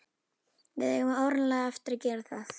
Við eigum áreiðanlega eftir að gera það.